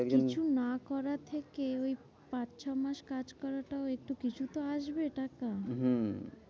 কিছু না করার থেকে ওই পাঁচ ছ মাস কাজ করাটাও একটু কিছু তো আসবে টাকা। হম